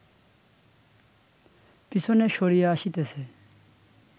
পিছনে সরিয়া আসিতেছে